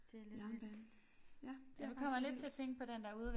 Jernbane ja det er faktisk lidt vildt